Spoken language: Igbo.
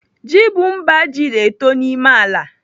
Ji bụ mba ji na-eto n'ime ala.